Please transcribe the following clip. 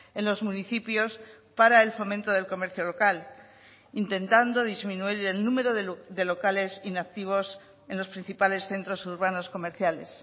en los municipios para el fomento del comercio local intentando disminuir el número de locales inactivos en los principales centros urbanos comerciales